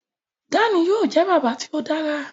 Dan yóò jẹ bàbá tí o dára